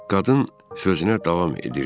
Qadın sözünə davam edirdi.